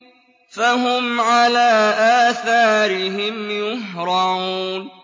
فَهُمْ عَلَىٰ آثَارِهِمْ يُهْرَعُونَ